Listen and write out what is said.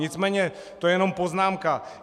Nicméně to je jenom poznámka.